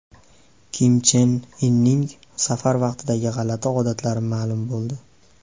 Kim Chen Inning safar vaqtidagi g‘alati odatlari ma’lum bo‘ldi.